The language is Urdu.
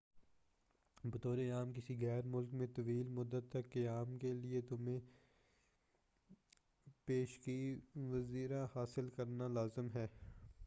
بطورِ عام کسی غیر ملک میں طویل مدت تک قیام کے لئے تمہیں پیشگی ویزا حاصل کرنا لازم ہے